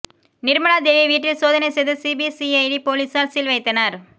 நிர்மலா தேவி வீட்டில் சோதனை செய்த சிபிசிஐடி போலீசார் சீல் வைத்தனர்